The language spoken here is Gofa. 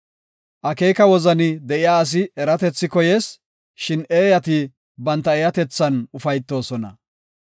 Akeeka wozani de7iya asi eratethi koyees; shin eeyati banta eeyatethan ufaytoosona.